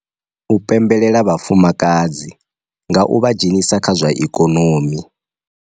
U pembelela vhafumakadzi nga u vha dzhenisa kha zwa ikonomivha dzhenisa kha zwa ikonomi.